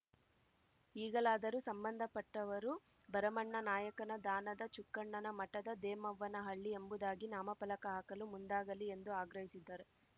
ಈಗಲಾದರೂ ಸಂಬಂಧ ಪಟ್ಟವರು ಭರಮಣ್ಣ ನಾಯಕನ ದಾನದ ಚುಕ್ಕಣ್ಣನ ಮಠದ ದೇಮವ್ವನಹಳ್ಳಿ ಎಂಬುದಾಗಿ ನಾಮಫಲಕ ಹಾಕಲು ಮುಂದಾಗಲಿ ಎಂದು ಆಗ್ರಹಿಸಿದ್ದಾರೆ